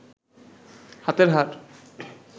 হাতের হাড়